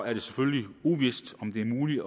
er det selvfølgelig uvist om det er muligt